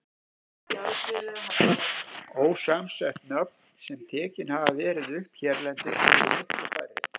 Ósamsett nöfn, sem tekin hafa verið upp hérlendis, eru miklu færri.